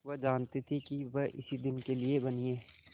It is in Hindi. वह जानती थी कि वह इसी दिन के लिए बनी है